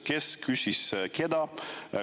Kes küsis kellelt?